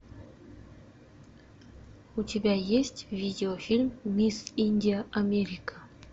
у тебя есть видеофильм мисс индия америка